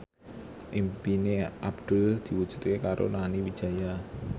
impine Abdul diwujudke karo Nani Wijaya